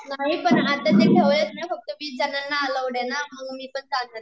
नाही आता ते पण वीस जणांना अलौड आहे ना म्हणून मी पण चालले